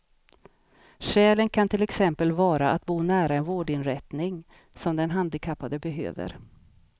Skälen kan till exempel vara att bo nära en vårdinrättning som den handikappade behöver.